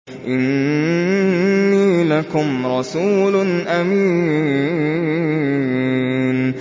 إِنِّي لَكُمْ رَسُولٌ أَمِينٌ